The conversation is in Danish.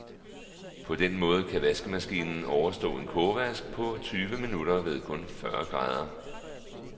På den måde kan vaskemaskinen overstå en kogevask på tyve minutter ved kun fyrre grader.